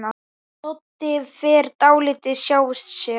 Doddi fer dálítið hjá sér.